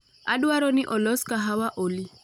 Adwaro ni olos kahawa Olly